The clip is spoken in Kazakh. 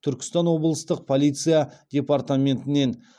түркістан облыстық полиция департаментінен